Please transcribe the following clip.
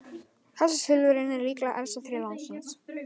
Þessi silfurreynir er líklega elsta tré landsins.